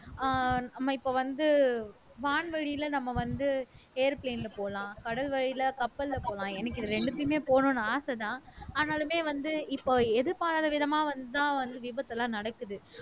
ஆஹ் நம்ம இப்ப வந்து வான்வெளியில நம்ம வந்து airplane போலாம் கடல் வழியில கப்பல்ல போலாம் எனக்கு இது ரெண்டுத்துக்குமே போகணும்னு ஆசைதான் ஆனாலுமே வந்து இப்ப எதிர்பாராத விதமா வந்துதான் வந்து விபத்து எல்லாம் நடக்குது